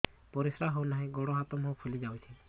ପରିସ୍ରା ହଉ ନାହିଁ ଗୋଡ଼ ହାତ ମୁହଁ ଫୁଲି ଯାଉଛି